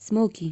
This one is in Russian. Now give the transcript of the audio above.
смоки